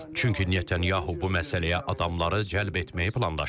Çünki Netanyahu bu məsələyə adamları cəlb etməyi planlaşdırır.